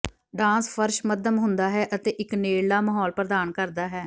dance ਫ਼ਰਸ਼ ਮੱਧਮ ਹੁੰਦਾ ਹੈ ਅਤੇ ਇੱਕ ਨੇੜਲਾ ਮਾਹੌਲ ਪ੍ਰਦਾਨ ਕਰਦਾ ਹੈ